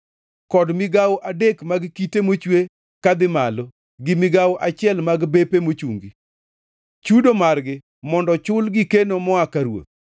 kod migawo adek mag kite mochwe kadhi malo gi migawo achiel mag bepe mochungi. Chudo margi mondo chul gi keno moa ka ruoth.